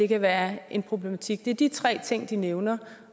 kan være en problematik det er de tre ting de nævner